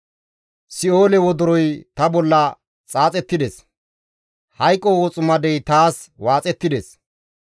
Si7oole wodoroy ta bolla xaaxettides; hayqo woximadey taas waaxettides.